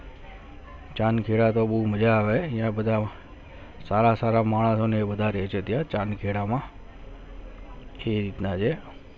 ચાંદખેડા મેં બહુ મજા આવે આયા સારા સારા માહ રંગ બધા હોય ચાણખેડા માં કી અત્યારે